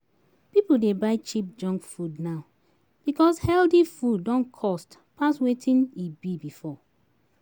People dey buy cheap junk food now because healthy food don cost pass wetin e be before